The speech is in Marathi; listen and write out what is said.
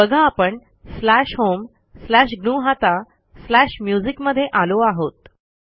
बघा आपण स्लॅश होम स्लॅश ग्नुहता स्लॅश म्युझिक मध्ये आलो आहोत